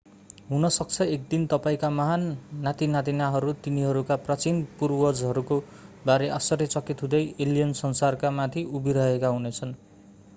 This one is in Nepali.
हुनसक्छ एक दिन तपाईंका महान नातिनातिनाहरू तिनीहरूका प्राचीन पुर्वजहरूका बारे आश्चर्यचकित हुँदै एलियन संसारकामाथि उभिरहेका हुनेछन्